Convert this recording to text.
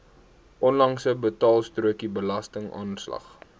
onlangse betaalstrokie belastingaanslag